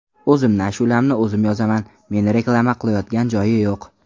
O‘zimni ashulamni o‘zim yozaman, meni reklama qilayotgan joyi yo‘q.